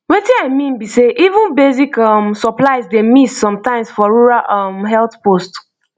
wetin i mean be sey even basic um supplies dey miss sometimes for rural um health post